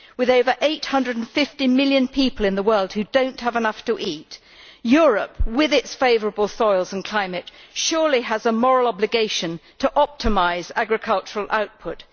With over 850 million people in the world who do not have enough to eat Europe, with its favourable soils and climate, surely has a moral obligation to optimise agricultural output.